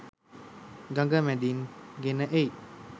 ගඟ මැදින් ගෙන එයි.